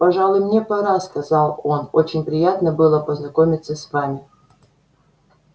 пожалуй мне пора сказал он очень приятно было познакомиться с вами